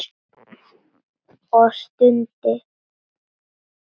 Og stundi.